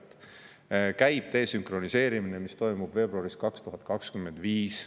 Käib desünkroniseerimiseks, mis toimub veebruaris 2025.